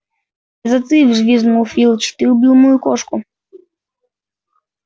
это ты взвизгнул филч ты убил мою кошку